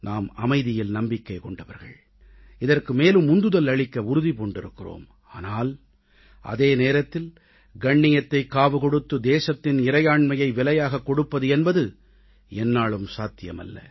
நாம் அமைதியில் நம்பிக்கை கொண்டவர்கள் இதற்கு மேலும் உந்துதல் அளிக்க உறுதி பூண்டிருக்கிறோம் ஆனால் அதே நேரத்தில் கண்ணியத்தைக் காவு கொடுத்து தேசத்தின் இறையாண்மையை விலையாகக் கொடுப்பது என்பது எந்நாளும் சாத்தியமல்ல